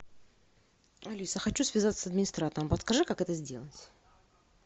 алиса хочу связаться с администратором подскажи как это сделать